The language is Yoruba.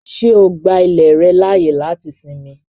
Ṣé o gbà ilẹ̀ rẹ laáyè láti sínmì?